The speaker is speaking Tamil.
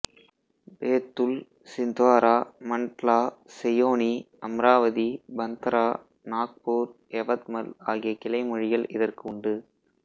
பேத்துல் சிந்த்வாரா மண்ட்லா செயோனி அம்ராவதி பந்தரா நாக்பூர் யவத்மல் ஆகிய கிளை மொழிகள் இதற்கு உண்டு